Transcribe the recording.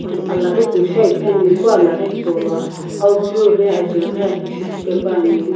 alaghi kusho epheni epu alaghi hipou lo aou peu ghi ajaue ghi aki shishii paepane.